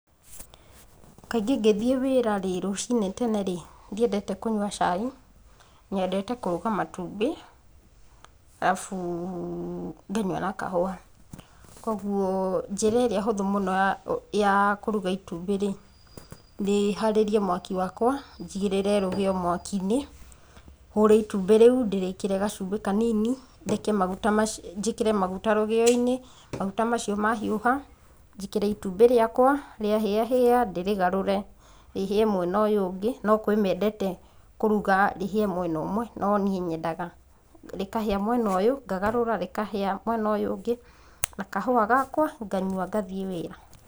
Kaingĩ ngĩthiĩ wĩra rĩ, rũcinĩ tene rĩ, ndiendete kũnyua cai, nyendete kũruga matumbĩ, arabu, nganyua na kahũwa, koguo njĩra ĩrĩa hũthũ mũno ya ya kũruga itũmbĩ rĩ, nĩ harĩrie mwaki wakwa, njigíĩrĩre rũgĩyo mwaki-inĩ, hũre itumbĩ rĩu, ndĩrĩkĩre gacumbĩ kanini, ndeke maguta macio njĩkĩre maguta rũgĩyo-inĩ, maguta mau mahiũha, njĩkĩre itumbĩ rĩakwa rũgĩyo-inĩ, rĩahĩyahĩya ndĩrĩgarũre, rĩhĩe mwena ũyũ ũngĩ, no kwĩmendete kũruga rĩhĩe mwena ũmwe, no niĩ nyendaga rĩkahĩa mwena ũyũ, ngagarũra rĩkahĩa mwena ũyũ ũngĩ, na kahũwa gakwa, nganyua ngathiĩ wĩra.